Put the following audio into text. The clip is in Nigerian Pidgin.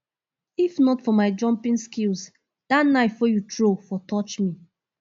if not for my jumping skills dat knife wey you throw for touch me